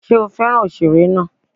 Ṣé ó fẹ́ràn òṣèré náà?